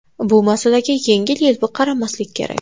Bu masalaga yengil-yelpi qaramaslik kerak.